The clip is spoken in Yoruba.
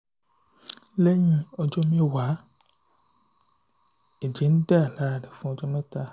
lẹ́yìn ọjọ́ mẹ́wàá ẹ̀jẹ̀ ń dà lára rẹ̀ fún ọjọ́ mẹ́ta